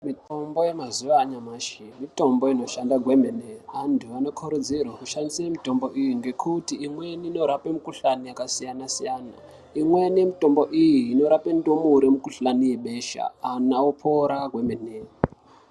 Mitombo yemazuva anyamashi mitombo inoshanda kwemene antu anokurudzirwa kushandisa mitombo iyi ngekuti imweni inorapa mikuhlani yakasiyana-siyana imweni yemutombo iyi inorapa ndumure mukuhlani webesha antu opora kwemene.